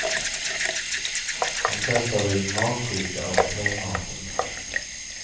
De flesta har blivit magsjuka av hotellmaten.